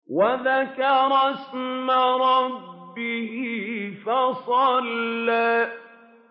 وَذَكَرَ اسْمَ رَبِّهِ فَصَلَّىٰ